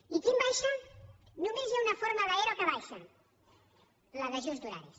i quin baixa només hi ha una forma d’ero que baixa la d’ajust d’horaris